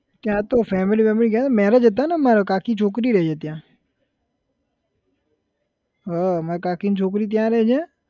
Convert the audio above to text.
ત્યાં તો family બેમિલી ગયા તા marriage હતા ને માર કાકીની છોકરી રહે છે ત્યાં હા માર કાકીની છોકરી ત્યાં રહે છે